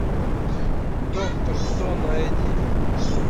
доктор кто найди